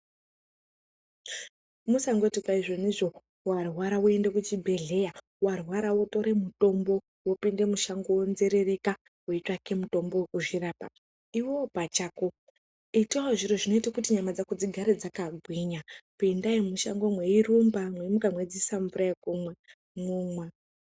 Musangoti izvonizvo warwara woende kuchibhedhlera, warwara wotore mitombo. Wopinde mushango weinzerereka weitsvake mitombo wekuzvirapa. Iwewe pachako itawozvinoita kuti nyama dzako dzigare dzakagwinya. Pindai mushango mweirumba, mweimuka mwodziise mvura yekumwa, momwa.